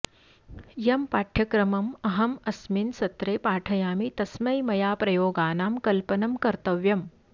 यं पाठ्यक्रमम् अहम् अस्मिन् सत्रे पाठयामि तस्मै मया प्रयोगानां कल्पनं कर्तव्यम्